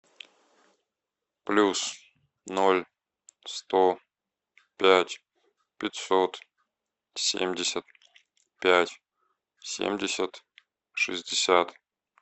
плюс ноль сто пять пятьсот семьдесят пять семьдесят шестьдесят